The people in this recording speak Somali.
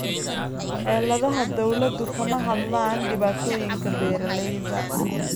Xeeladaha dawladdu kama hadlaan dhibaatooyinka beeralayda.